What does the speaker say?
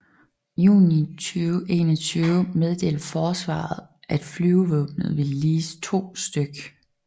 Juni 2021 meddelte Forsvaret at Flyvevåbnet ville lease to stk